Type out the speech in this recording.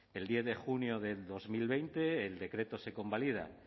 el diez de junio de dos mil veinte el decreto se convalida